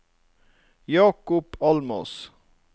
Jacob Almås